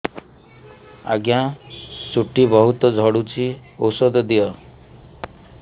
ଆଜ୍ଞା ଚୁଟି ବହୁତ୍ ଝଡୁଚି ଔଷଧ ଦିଅ